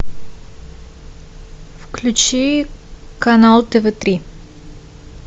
включи канал тв три